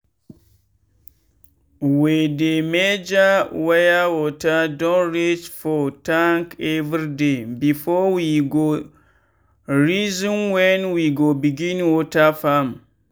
we dey measure where water don reach for tank everyday before we go reason when we go begin water farm.